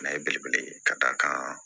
N'a ye belebele ka d'a kan